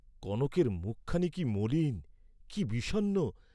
কনকের মুখখানি কি মলিন, কি বিষণ্ণ!